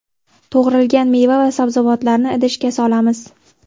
To‘g‘ralgan meva va sabzavotlarni idishga solamiz.